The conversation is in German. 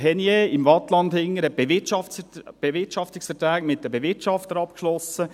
Henniez im Waadtland hat Bewirtschaftungsverträge mit den Bewirtschaftern abgeschlossen.